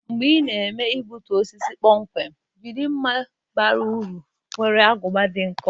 Mgbe ị na-eme igbutu osisi kpomkwem, jiri mma bara uru nwere agụba dị nkọ.